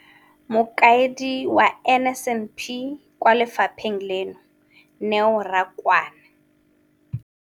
Mokaedi wa NSNP kwa lefapheng leno, Neo Rakwena,